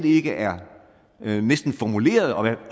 ikke er formuleret og